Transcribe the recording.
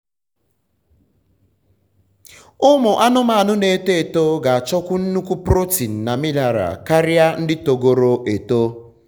ụmụ anụmanụ na eto eto ga achọkwu nnukwu protein na mineral karia ndị togoro eto